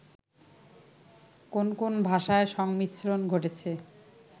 কোন কোন ভাষার সংমিশ্রন ঘটেছে